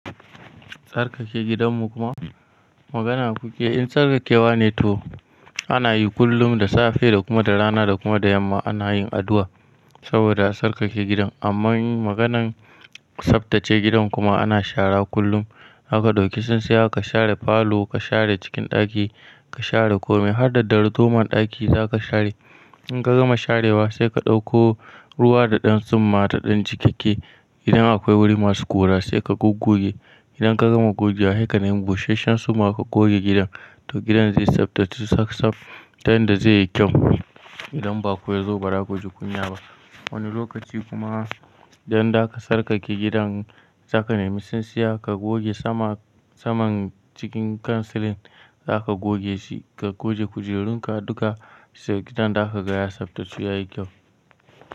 Sarkake gidan mu kuma magana ku ke, in sarkake wa ne to ana yi kullum da safe da kuma da rana da kuma da yamma ana yin addu'a saboda sarkake gidan. Amma maganan tsaftace gidan kuma ana shara kullum zaka ɗauki tsintsiya ka share falo, ka share cikin ɗaki, ka share kome har da darduman ɗaki za ka share. In ka gama sharewa sai ka ɗauko ruwa da ɗan tsumma da ɗan jikakke. Idan akwai wuri masu ƙura sai ka gogge. Idan ka gama gogewa heka nemi busasshen tsumma ka goge gidan to gidan zai tsaftace tsaf tsaf, ta yanda zai yi kyau. Idan baƙo yazo bara kuji kunya ba. Wani lokaci kuma idan za ka tsarkake gidan za ka nemi tsintsiya ka goge saman, saman cikin kansilin za ka goge shi, ka goge kujerun ka duka sai gidan za ka ga ya tsaftace ya yi kyau.